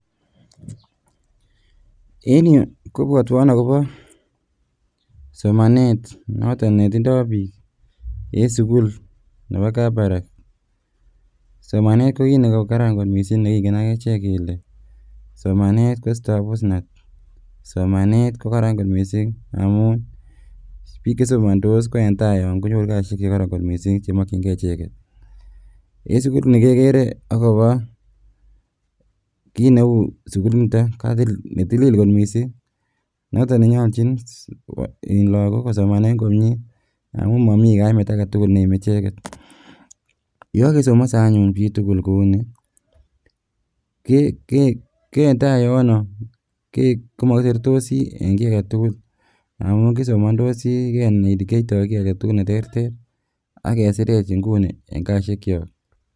En yu kobwotwon akobo somanet noton netindo bik en sukul nebo Kabarak, somanet ko kiit nekaran kot mising nekingen agechek kele somanet koisto abusnatet, somanet kokaran kot mising amun bik chesomontos koendaa yon konyoru kasisiek chekoron kot mising chemokyin kee icheket, en sukuliniton kekere akobo kineu sukuliniton netilil kot mising noton nenyoljin lagok kosomanen komie amun momi kaimet agetugul neime icheget yekokesomose anyun chitugul kouni koendaa yono komokiseretosi en ki agetugul amun kisomondosi kenai ole kiyoito kii agetugul neterter ii ak kesirech inguni en kasisiekyok.